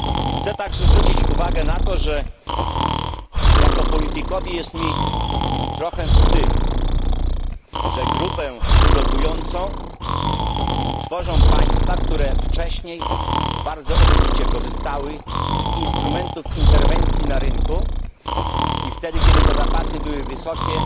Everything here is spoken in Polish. Chcę także zwrócić uwagę na to, że jako politykowi jest mi trochę wstyd, że grupę blokującą tworzą państwa, które wcześniej bardzo obficie korzystały z instrumentów interwencji na rynku i wtedy, kiedy te zapasy były wysokie,